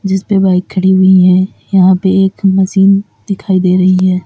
जिसपे बाइक खड़ी हुईं है यहां पे एक मशीन दिखाई दे रही हैं।